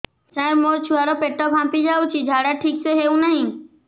ସାର ମୋ ଛୁଆ ର ପେଟ ଫାମ୍ପି ଯାଉଛି ଝାଡା ଠିକ ସେ ହେଉନାହିଁ